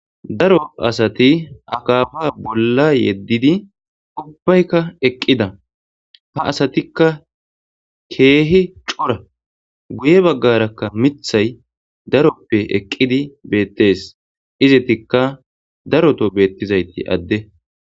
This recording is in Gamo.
Daro asati akaafa bolla yeddidi ubbaykka eqqida ha asatikka keehi cora guye baggarakka mithay daroppe eqqidi beettees izitikka daroto beettizayti adde.